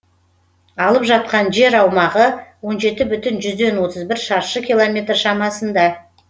алып жатқан жер аумағы он жеті бүтін жүзден отыз бір шаршы километр шамасында